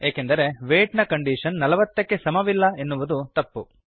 ಏಕೆಂದರೆ ವೇಯ್ಟ್ ನ ಕಂಡೀಷನ್ ೪೦ ಕ್ಕೆ ಸಮವಿಲ್ಲ ಎನ್ನುವುದು ತಪ್ಪು